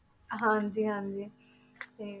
ਹਾਂਜੀ ਹਾਂਜੀ ਤੇ